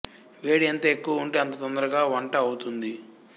వేడి ఎంత ఎక్కువ ఉంటే అంత తొందరగా వంట అవుతుంది